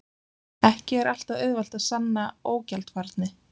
Ekki er alltaf auðvelt að sanna ógjaldfærni.